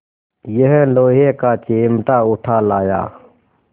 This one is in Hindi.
यह लोहे का चिमटा उठा लाया